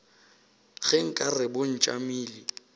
ge nka re bo tšamile